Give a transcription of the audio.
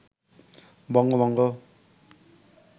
বঙ্গভঙ্গ